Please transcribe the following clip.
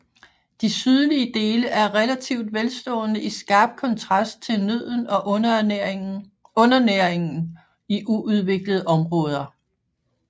De sydlige dele er relativt velstående i skarp kontrast til nøden og undernæringen i uudviklede områder